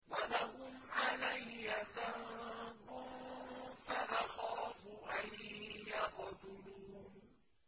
وَلَهُمْ عَلَيَّ ذَنبٌ فَأَخَافُ أَن يَقْتُلُونِ